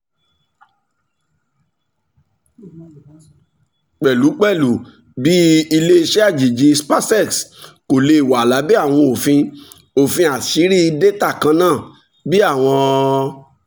pẹlupẹlu bi ile-iṣẹ ajeji spacex ko le wa labẹ awọn ofin ofin aṣiri data kanna bi awọn